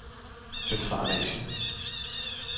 Centralasien